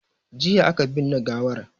Jiya aka binne gawar